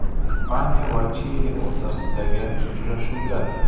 Ispaniya va Chili o‘rtasidagi uchrashuvda.